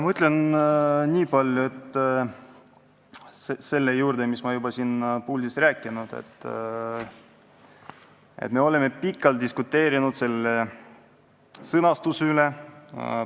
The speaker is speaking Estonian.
Ma ütlen lisaks sellele, mis ma olen juba siin puldis rääkinud, et me oleme pikalt diskuteerinud selle sõnastuse üle.